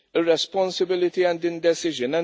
irresponsibility and indecision.